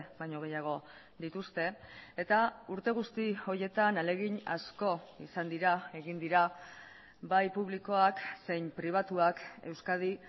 baino gehiago dituzte eta urte guzti horietan ahalegin asko izan dira egin dira bai publikoak zein pribatuak euskadi